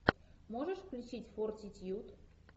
можешь включить фортитьюд